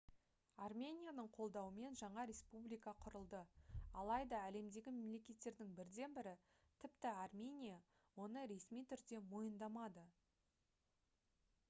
арменияның қолдауымен жаңа республика құрылды алайда әлемдегі мемлекеттердің бірден бірі тіпті армения оны ресми түрде мойындамады